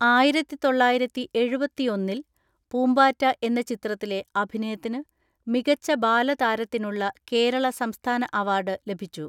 ആയിരത്തിതൊള്ളയിരത്തിഎഴുപത്തിഒന്നിൽ പൂമ്പാറ്റ എന്ന ചിത്രത്തിലെ അഭിനയത്തിന് മികച്ച ബാലതാരത്തിനുള്ള കേരള സംസ്ഥാന അവാർഡ് ലഭിച്ചു.